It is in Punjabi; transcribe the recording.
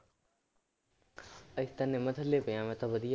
ਅਸੀਂ ਤਾਂ ਨਿੰਮ ਥੱਲੇ ਪਿਆ ਮੈਂ ਤਾਂ ਵਧੀਆ।